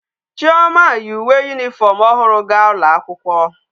Chioma yi uwe uniform ohuru ga ulo akwukwo